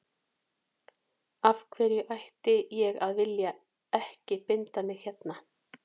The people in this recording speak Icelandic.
Af hverju ætti ég að vilja ekki binda mig hérna.